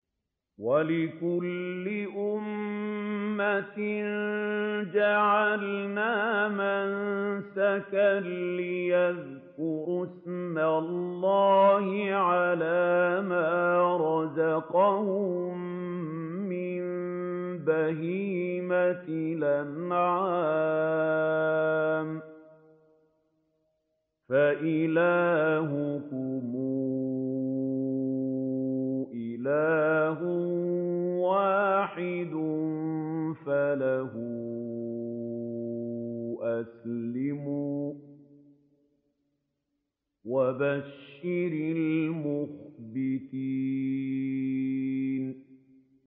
وَلِكُلِّ أُمَّةٍ جَعَلْنَا مَنسَكًا لِّيَذْكُرُوا اسْمَ اللَّهِ عَلَىٰ مَا رَزَقَهُم مِّن بَهِيمَةِ الْأَنْعَامِ ۗ فَإِلَٰهُكُمْ إِلَٰهٌ وَاحِدٌ فَلَهُ أَسْلِمُوا ۗ وَبَشِّرِ الْمُخْبِتِينَ